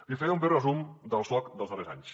li faré un breu resum del soc dels darrers anys